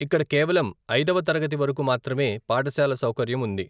ఇక్కడ కేవలం ఐదవ తరగతి వరకు మాత్రమే పాఠశాల సౌకర్యం ఉంది.